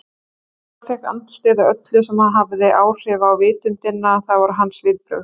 Valdimar fékk andstyggð á öllu sem hafði áhrif á vitundina, það voru hans viðbrögð.